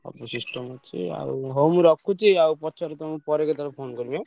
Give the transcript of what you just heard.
ସବୁ system ଅଛି ଆଉ ହଉ ମୁଁ ରଖୁଛି ଆଉ ପଛରେ ତମୁକୁ ପରେ କେତବେଳେ phone କରିବି ଆଁ?